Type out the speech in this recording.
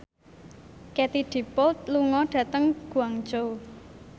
Katie Dippold lunga dhateng Guangzhou